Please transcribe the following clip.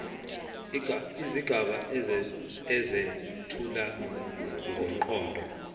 izigaba ezethula ngomqondo